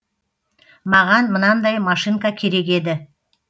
маған мынандай машинка керек еді